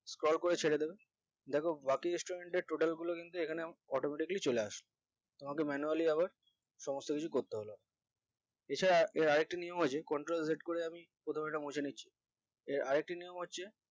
scroll করে ছেড়ে দেবে দ্যাখো বাকি student এর total গুলো কিন্তু এখানে আমার automatically চলে আস তোমাদের manually হবে সমস্ত কিছু করতে হলো এছাড়া এর আরেকটা নিয়ম আছে control head করে আমি প্রথমে এটা মুছে নিচ্ছি এর আরেকটা নিয়ম হচ্ছে